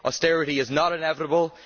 Austerity is not inevitable.